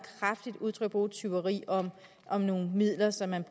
kraftigt udtryk ordet tyveri om nogle midler som man